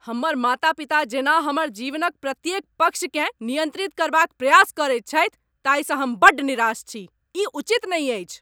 हमर माता पिता जेना हमर जीवनक प्रत्येक पक्षकेँ नियन्त्रित करबाक प्रयास करैत छथि ताहिसँ हम बड्ड निराश छी। ई उचित नहि अछि।